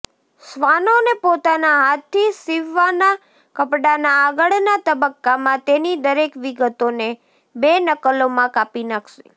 શ્વાનોને પોતાના હાથથી સીવવાના કપડાંનાં આગળના તબક્કામાં તેની દરેક વિગતોને બે નકલોમાં કાપી નાખશે